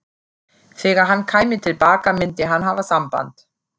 Þegar hann kæmi til baka myndi hann hafa samband.